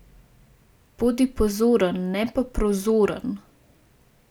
Bodi pozoren ne pa prozoren.